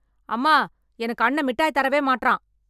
அம்மா எனக்கு அண்ணெ மிட்டாய் தரவே மாட்றான்.